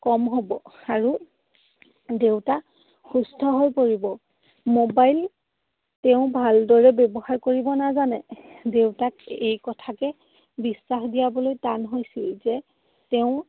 কম হব আৰু দেউতা সুস্থ হৈ পৰিব। Mobile তেওঁ ভালদৰে ব্যৱহাৰ কৰিব নাজানে। দেউতাক এই কথাকে বিশ্বাস দিয়াবলৈ টান হৈছিল যে তেওঁ